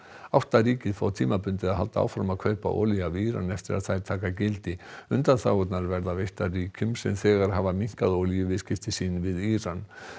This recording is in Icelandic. átta ríki fá tímabundið að halda áfram að kaupa olíu af Íran eftir þær taka gildi undanþágurnar verða veittar ríkjum sem þegar hafa minnkað olíuviðskipti sín við Íran